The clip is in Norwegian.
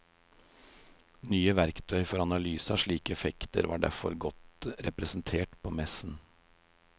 Nye verktøy for analyse av slike effekter var derfor godt representert på messen.